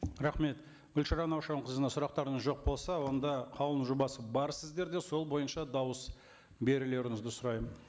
рахмет гүлшара наушақызына сұрақтарыңыз жоқ болса онда қаулының жобасы бар сіздерде сол бойынша дауыс берулеріңізді сұраймын